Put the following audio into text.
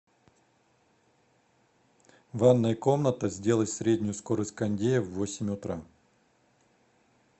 ванная комната сделай среднюю скорость кондея в восемь утра